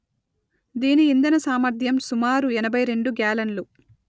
దీని ఇంధన సామర్థ్యం సుమారు ఎనభై రెండు గ్యాలన్లు